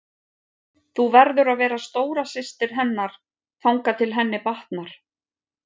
Þú verður að vera stóra systir hennar þangað til henni batnar.